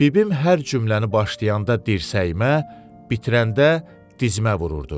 Bibim hər cümləni başlayanda dirsəyimə, bitirəndə dizimə vururdu.